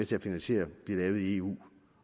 til at finansiere bliver lavet i eu